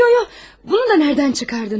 Yo yo yo, bunu da nədən çıxardınız?